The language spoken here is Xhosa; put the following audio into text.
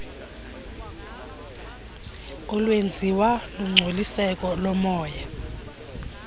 olwenziwa lungcoliseko lomoya